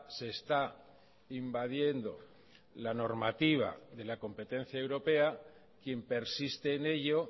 se está invadiendo la normativa de la competencia europea quien persiste en ello